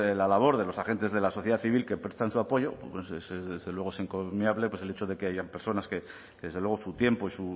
la labor de los agentes de la sociedad civil que prestan su apoyo pues desde luego es incomiable pues el hecho de que haya personas que desde luego su tiempo y